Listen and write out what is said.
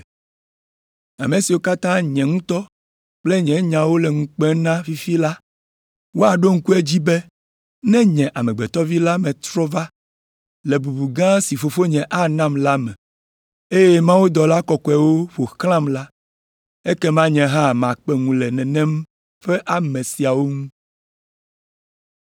“Ame siwo katã nye ŋutɔ kple nye nyawo le ŋu kpem na fifia la, woaɖo ŋku edzi be ne nye Amegbetɔ Vi la metrɔ va le bubu gã si Fofonye anam la me, eye mawudɔla kɔkɔewo ƒo xlãm la, ekema nye hã makpe ŋu le nenem ƒe ame siawo ŋu.